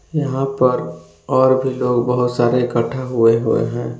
यहां पर और भी लोग बहुत सारे इकठ्ठा हुए हुए हैं।